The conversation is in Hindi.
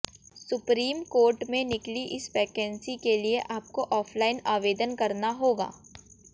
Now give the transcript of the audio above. सुप्रीम कोर्ट में निकली इस वैकेंसी के लिए आपको ऑफलाइन आवेदन करना होगा